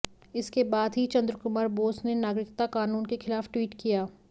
इसके बाद ही चंद्र कुमार बोस ने नागरिकता क़ानून के ख़िलाफ़ ट्वीट किया